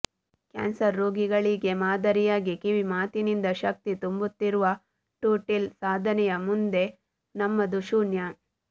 cancer ರೋಗಿಗಳಿಗೆ ಮಾದರಿಯಾಗಿ ಕಿವಿ ಮಾತಿನಿಂದ ಶಕ್ತಿ ತುಂಬುತ್ತಿರುವ ಟೂಟಿಲ್ ಸಾಧನೆಯ ಮುಂದೆ ನಮ್ಮದು ಶೂನ್ಯ